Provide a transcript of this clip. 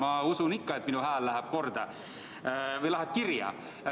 Ma ikka usun, et minu hääl läheb kirja.